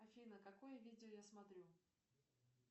афина какое видео я смотрю